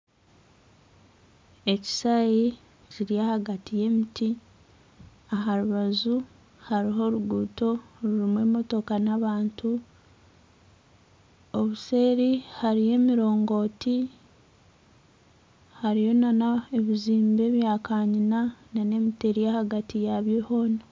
Ekishaahe kiri ahagati y'emiti, aha rubaju hariho oruguuto rurimu emotoka n'abantu. Obuseeri hariyo emirongooti hariyo n'ebizimbe bya kanyina n'emiti eri ahagati yabyo hoona.